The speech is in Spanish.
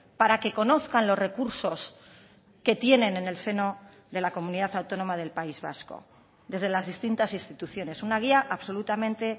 para que conozcan los recursos que tienen en el seno de la comunidad autónoma del país vasco desde las distintas instituciones una guía absolutamente